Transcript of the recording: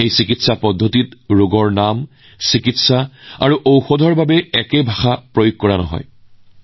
এই চিকিৎসা ব্যৱস্থাসমূহত ৰোগৰ নাম চিকিৎসা আৰু ঔষধৰ ক্ষেত্ৰতো একে ভাষা ব্যৱহাৰ কৰা নহয়